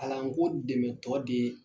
Kalan ko dɛmɛtɔ de ye